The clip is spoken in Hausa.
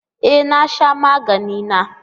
E na sha magani na